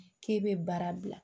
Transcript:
K'e bɛ baara bila